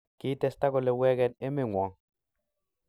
Kitesta kole wegen emengwong.